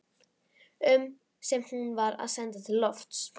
um sem hún var að senda til lofts.